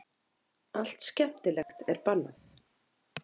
Allt skemmtilegt er bannað.